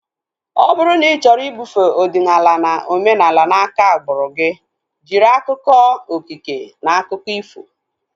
Ọ bụrụ na ị chọrọ ibufee ọdịnala na omenala na aka agbụrụ gị, jiri akụkọ okike na akụkọ ifo